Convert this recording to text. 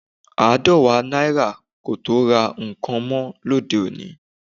Aadọwa naira kò tó ra nǹkan mọ́ lóde òní